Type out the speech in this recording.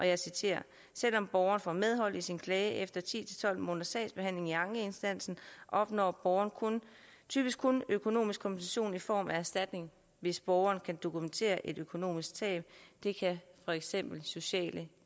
jeg citerer selvom borgeren får medhold i sin klage efter ti til tolv måneders sagsbehandling i ankeinstansen opnår borgeren typisk kun en økonomisk kompensation i form af erstatning hvis borgeren kan dokumentere et økonomisk tab det kan for eksempel sociale